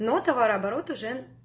но товарооборот уже